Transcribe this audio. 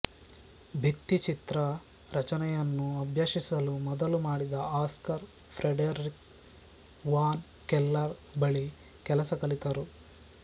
ಭಿತ್ತಿಚಿತ್ರ ರಚನೆಯನ್ನು ಅಭ್ಯಸಿಸಲು ಮೊದಲು ಮಾಡಿದ ಆಸ್ಕರ್ ಫ್ರೆಡೆರಿಕ್ ವಾನ್ ಕೆಲ್ಲರ್ ಬಳಿ ಕೆಲಸ ಕಲಿತರು